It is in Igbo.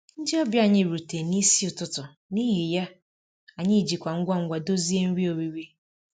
Ndị ọbịa anyị rutere n'isi ụtụtụ, n'ihi ya, anyị ji ngwa ngwa dozie nri oriri